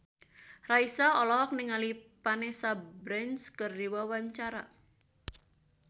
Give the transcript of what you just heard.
Raisa olohok ningali Vanessa Branch keur diwawancara